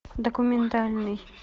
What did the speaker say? документальный